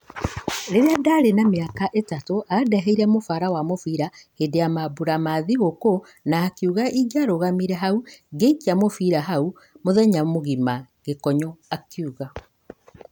Rĩrĩa ndarĩ na ta mĩaka ĩtatũ andeheire mũbara wa mũbira hĩndĩ ya maabura ma thigũkũũ na akiuga ingĩarũgamire hau ngĩikia mũbira hau mũthenya mũgima,' Gĩkonyo akiuga.